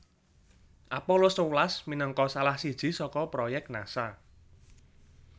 Apollo sewelas minangka salah siji saka proyèk Nasa